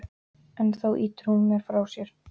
En þá ýtir hún mér frá sér.